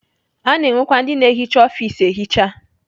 Ana enwekwa ndị na-ehicha ọfis ehicha.